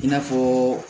I n'a fɔ